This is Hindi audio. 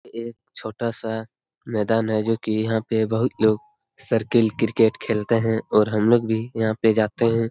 एक छोटा सा मैदान है जो की यहाँ पे बहुत लोग सर्किल क्रिकेट खेलते है और हम लोग भी यहाँ पे जाते हैं।